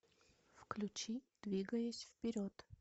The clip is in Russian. включи двигаясь вперед